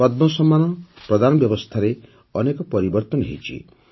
ପଦ୍ମ ସମ୍ମାନ ପ୍ରଦାନ ବ୍ୟବସ୍ଥାରେ ଅନେକ ପରିବର୍ତ୍ତନ ହୋଇଛି